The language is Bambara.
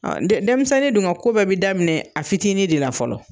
Denmisɛnnin dun ka ko bɛɛ bɛ daminɛ a fitinin de la fɔlɔ.